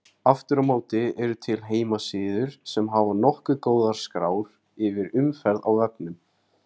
Aftur á móti eru til heimasíður sem hafa nokkuð góðar skrár yfir umferð á vefnum.